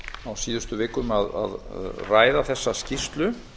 síðustu vikum að ræða þessa skýrslu